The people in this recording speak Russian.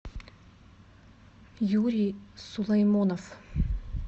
юрий сулаймонов